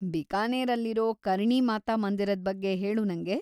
ಬಿಕಾನೇರಲ್ಲಿರೋ ಕರ್ಣಿ ಮಾತಾ ಮಂದಿರದ್‌ ಬಗ್ಗೆ ಹೇಳು ನಂಗೆ.